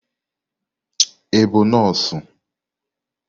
Ị bụ nọọsụ?